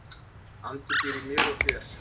Andi býr í mér og þér.